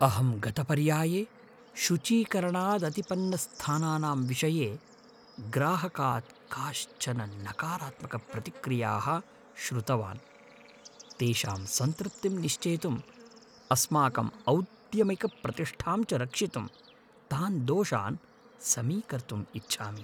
अहं गतपर्याये शुचीकरणादतिपन्नस्थानानां विषये ग्राहकात् काश्चन नकारात्मकप्रतिक्रियाः श्रुतवान्। तेषां सन्तृप्तिं निश्चेतुं, अस्माकं औद्यमिकप्रतिष्ठां च रक्षितुं तान् दोषान् समीकर्तुम् इच्छामि।